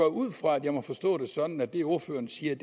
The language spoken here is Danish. ud fra at jeg må forstå det sådan at det ordføreren siger